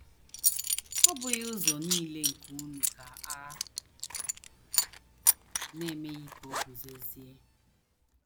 “ Ọ́ bụghị ụzọ nile nke unu ka a na - emeghị ka o guzozie? ”